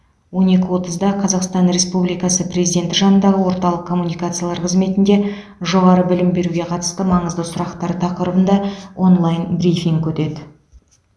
он екі отызда қазақстан республикасы президенті жанындағы орталық коммуникациялар қызметінде жоғары білім беруге қатысты маңызды сұрақтар тақырыбында онлайн брифинг өтеді